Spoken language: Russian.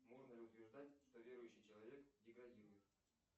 можно ли утверждать что верующий человек деградирует